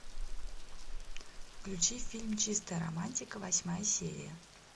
включи фильм чистая романтика восьмая серия